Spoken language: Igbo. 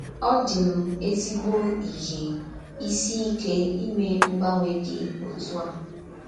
Ọ dị m ezígbọ̀ íhè ísì ìké ímè mgbanwè dị òtù a.